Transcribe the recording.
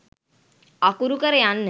අකුරු කර යන්න.